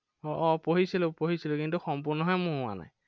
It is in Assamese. আহ আহ পঢ়িছিলো পঢ়িছিলো, কিন্তু সম্পূৰ্ণহে মোৰ হোৱা নাই।